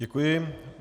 Děkuji.